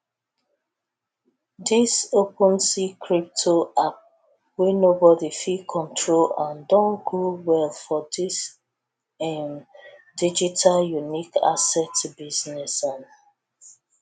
dis opensea crypto app wey nobody fit control am don grow well for dis im digital unique asset business um